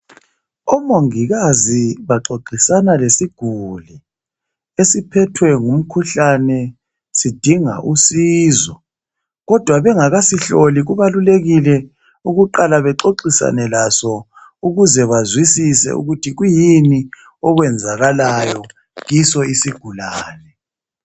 Omongikazi baxoxisana lesiguli, esiphethwe ngumkhuhlane sidinga usizo kodwa bengakasihloli kubalulekile ukuqala bexoxisane laso ukuze bazwisise ukuthi kuyini okwenzakalayo kiso isigulani.